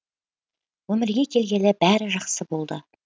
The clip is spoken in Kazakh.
өмірге келгелі бәрі жақсы болды